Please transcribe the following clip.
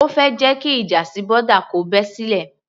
O fẹ́ jẹ́ kí ìjà sí boda kò bẹ́ sílẹ̀?